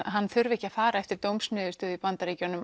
hann þurfi ekki að fara eftir dómsniðurstöðum í Bandaríkjunum